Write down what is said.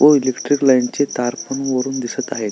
व electric line ची तार पण वरून दिसत आहे.